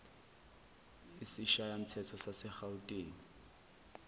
isishayamthetho sase gauteng